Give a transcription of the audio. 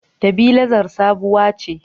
Tabilazar sabuwa ce